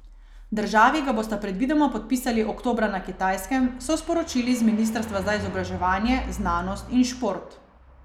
Državi ga bosta predvidoma podpisali oktobra na Kitajskem, so sporočili z ministrstva za izobraževanje, znanost in šport.